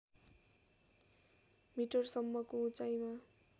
मिटरसम्मको उचाइमा